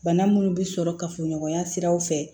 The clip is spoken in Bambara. Bana munnu bi sɔrɔ kafoɲɔgɔnya siraw fɛ